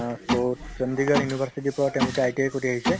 অ, so Chandigarh university ৰ পৰা তেওঁলোকে ITI কৰি আহিছে